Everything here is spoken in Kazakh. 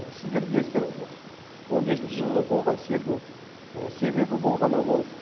сіздер білесіздер он бесінші жылы болған селдің себебі болғаны ол